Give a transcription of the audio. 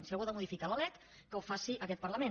si algú ha de modificar la lec que ho faci aquest parlament